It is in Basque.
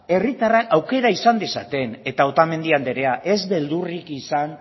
herritarrek aukera izan dezaten eta otamendi andrea ez beldurrik izan